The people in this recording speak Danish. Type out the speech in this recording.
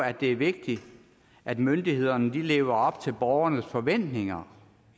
at det er vigtigt at myndighederne lever op til borgernes forventninger